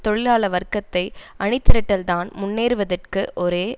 தொழிலாள வர்க்கத்தை அணிதிரட்டல்தான் முன்னேறுவதற்கு ஒரே